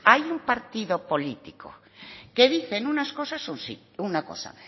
hay un partido político que dicen unas cosas un sí una cosa